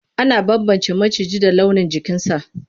Ana bambance maciji da launin jikinsa.